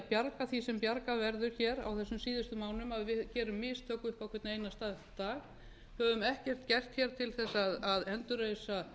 bjarga því sem bjargað verður hér á þessum síðustu mánuðum að við gerum mistök upp á hvern einasta dag höfum ekkert gert hér til þess að endurreisa